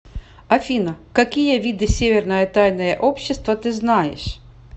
афина какие виды северное тайное общество ты знаешь